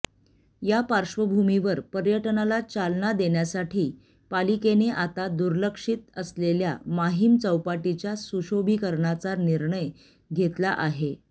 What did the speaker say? या पार्श्वभूमीवर पर्यटनाला चालना देण्यासाठी पालिकेने आता दुर्लक्षित असलेल्या माहीम चौपाटीच्या सुशोभीकरणाचा निर्णय घेतला आहे